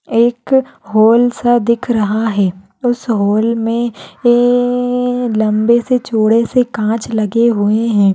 एक हॉल सा दिख रहा है उस हॉल मे येयेये लंबेसे चोडेसे काँच लगे हुए है।